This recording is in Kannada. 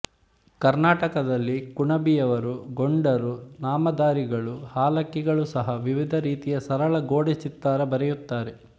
ಕರ್ನಾಟಕದಲ್ಲಿ ಕುಣಬಿ ಯವರು ಗೊಂಡರು ನಾಮದಾರಿಗಳು ಹಾಲಕ್ಕಿಗಳು ಸಹ ವಿವಿಧ ರೀತಿಯ ಸರಳ ಗೋಡೆ ಚಿತ್ತಾರ ಬರೆಯುತ್ತಾರೆ